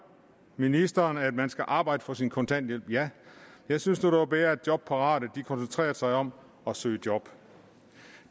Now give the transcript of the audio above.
ministeren at man skal arbejde for sin kontanthjælp ja jeg synes nu det var bedre at jobparate koncentrerede sig om at søge job